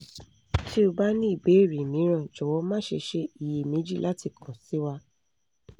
tí o bá ní ìbéèrè mìíràn jọ̀wọ́ má ṣe ṣe iyèméjì láti kan sí wa